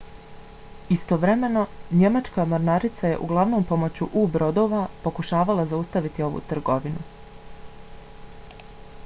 istovremeno njemačka mornarica je uglavnom pomoću u-brodova pokušavala zaustaviti ovu trgovinu